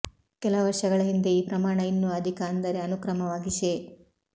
ಕೆಲ ವರ್ಷಗಳ ಹಿಂದೆ ಈ ಪ್ರಮಾಣ ಇನ್ನೂ ಅಧಿಕ ಅಂದರೆ ಅನುಕ್ರಮವಾಗಿ ಶೇ